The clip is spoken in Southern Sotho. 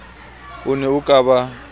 o ne o ka ba